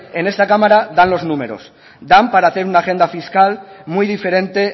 en esta cámara dan los números dan para hacer una agenda fiscal muy diferente